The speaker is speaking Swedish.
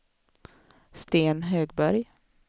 Sten Högberg